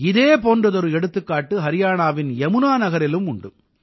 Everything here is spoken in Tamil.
இதே போன்ற ஒரு எடுத்துக்காட்டு ஹரியாணாவின் யமுனா நகரிலும் உண்டு